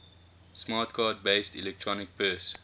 smart card based electronic purse